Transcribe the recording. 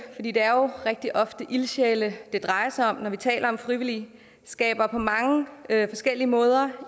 det er jo rigtig ofte ildsjæle det drejer sig om når vi taler om frivillige skaber på mange forskellige måder